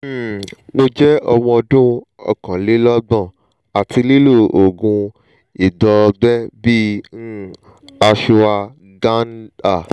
um mo je omo odun ookanlelogbon ati lilo oògùn itọọgbé bi um ashwagandha um